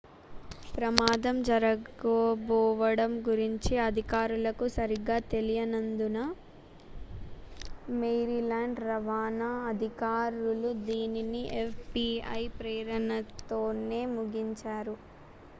ప్రమాదం జరగబోవడం గురించి అధికారులకు సరిగా తెలియనందున maryland రవాణా అధికారులు దీనిని fbi ప్రేరణతోనే ముగించారు